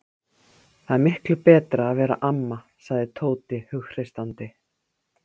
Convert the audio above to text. Það er miklu betra að vera amma, sagði Tóti hughreystandi.